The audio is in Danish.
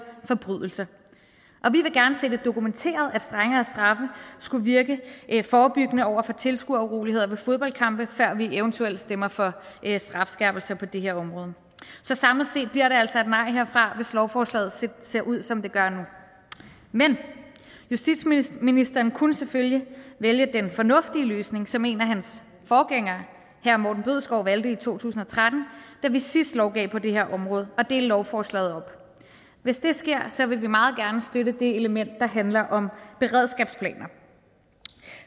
forbrydelser vi vil gerne se det dokumenteret at strengere straffe skulle virke forebyggende over for tilskueruroligheder ved fodboldkampe før vi eventuelt stemmer for strafskærpelse på det her område så samlet set bliver det altså et nej herfra hvis lovforslaget ser ud som det gør nu men justitsministeren kunne selvfølgelig vælge den fornuftige løsning som en af hans forgængere herre morten bødskov valgte i to tusind og tretten da vi sidst lovgav på det her område at dele lovforslaget op hvis det sker vil vi meget gerne støtte det element der handler om beredskabsplaner